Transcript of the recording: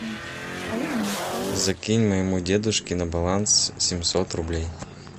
закинь моему дедушке на баланс семьсот рублей